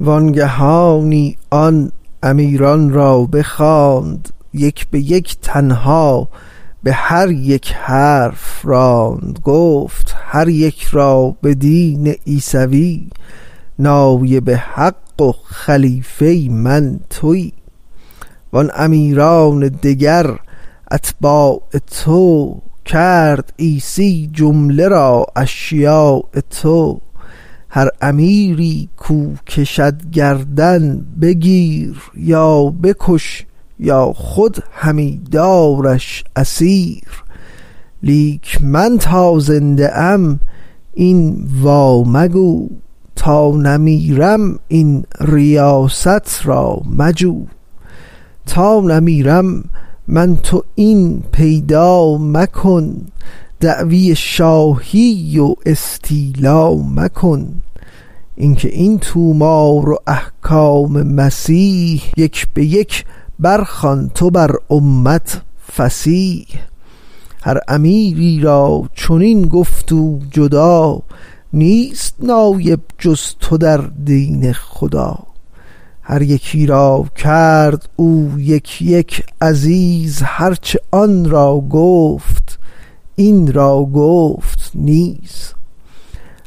وانگهانی آن امیران را بخواند یک بیک تنها بهر یک حرف راند گفت هر یک را بدین عیسوی نایب حق و خلیفه من توی وان امیران دگر اتباع تو کرد عیسی جمله را اشیاع تو هر امیری کو کشد گردن بگیر یا بکش یا خود همی دارش اسیر لیک تا من زنده ام این وا مگو تا نمیرم این ریاست را مجو تا نمیرم من تو این پیدا مکن دعوی شاهی و استیلا مکن اینک این طومار و احکام مسیح یک بیک بر خوان تو بر امت فصیح هر امیری را چنین گفت او جدا نیست نایب جز تو در دین خدا هر یکی را کرد او یک یک عزیز هرچه آن را گفت این را گفت نیز